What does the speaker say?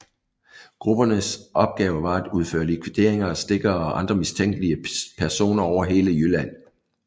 Gruppernes opgave var at udføre likvideringer af stikkere og andre mistænkelige personer over hele Jylland